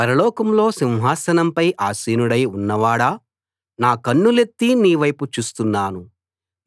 పరలోకంలో సింహాసనంపై ఆసీనుడై ఉన్నవాడా నా కన్నులెత్తి నీ వైపు చూస్తున్నాను